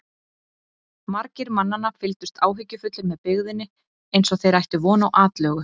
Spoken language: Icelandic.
Margir mannanna fylgdust áhyggjufullir með byggðinni eins og þeir ættu von á atlögu.